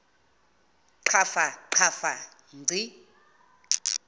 qhafa qhafa ngci